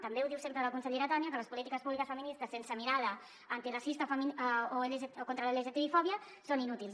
també ho diu sempre la consellera tània que les polítiques públiques feministes sense mirada antiracista o contra la lgtbi fòbia són inútils